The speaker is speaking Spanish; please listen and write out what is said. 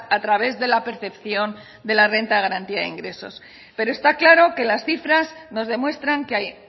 a través de la percepción de la renta de garantía de ingresos pero está claro que las cifras nos demuestran que hay